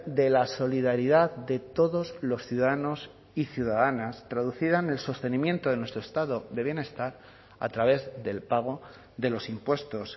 de la solidaridad de todos los ciudadanos y ciudadanas traducida en el sostenimiento de nuestro estado de bienestar a través del pago de los impuestos